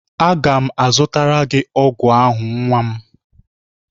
Aga m azụtara gị ọgwụ ahụ nwa m